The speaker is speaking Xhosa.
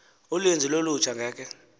uninzi lolutsha ngeke